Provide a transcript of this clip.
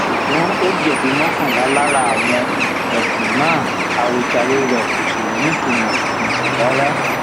ṣùgbọn ó jẹbi mọkànlá lára àwọn um ẹsùn náà àròjàre rẹ kò sì nítumọ um rárá